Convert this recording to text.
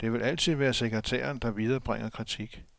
Det vil altid være sekretæren, der viderebringer kritik.